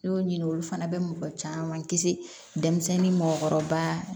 N y'o ɲini olu fana bɛ mɔgɔ caman kisi denmisɛnnin mɔkɔrɔba